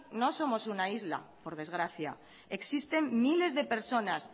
no somos una isla por desgracia existen miles de personas